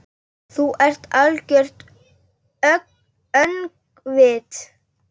Þú ert algert öngvit!